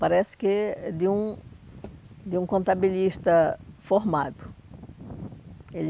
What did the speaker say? Parece que é de um de um contabilista formado. Ele